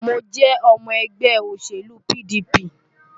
Mo jẹ́ ọmọ ẹgbẹ́ òṣèlú PDP.